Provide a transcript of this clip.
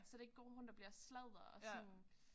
Så det ikke går rundt og bliver sladder og sådan